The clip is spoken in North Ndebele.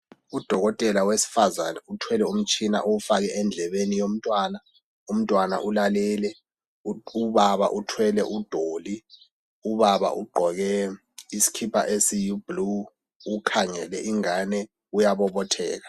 Udokotela wesifazane uthwele umtshina owufake endlebeni yomntwana , umntwana ulalele , ubaba uthwele udoli , ubaba ugqoke isikipa esiyi blue , ukhangele ingane uyabobotheka